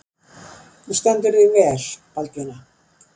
Þú stendur þig vel, Baldvina!